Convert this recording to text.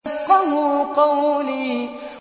يَفْقَهُوا قَوْلِي